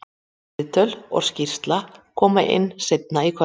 Viðtöl og skýrsla koma inn seinna í kvöld.